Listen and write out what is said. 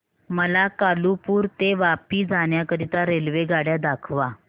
मला कालुपुर ते वापी जाण्या करीता रेल्वेगाड्या दाखवा